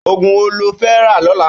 Ógún wó ló fè rà lòlã?